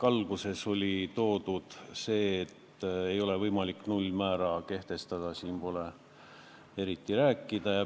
Alguses oli kirjas, et ei ole võimalik nullmäära kehtestada, seega pole eriti millestki rääkida.